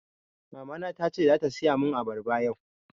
Mama na tace zata siya mun abarba yau